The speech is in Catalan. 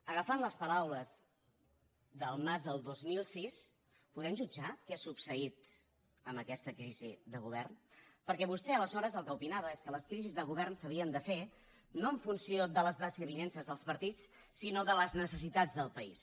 agafant les paraules del mas del dos mil sis podem jutjar què ha succeït amb aquesta crisi de govern perquè vostè aleshores el que opinava és que les crisis de govern s’havien de fer no en funció de les desavinences dels partits sinó de les necessitats del país